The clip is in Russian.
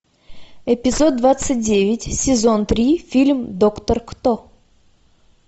эпизод двадцать девять сезон три фильм доктор кто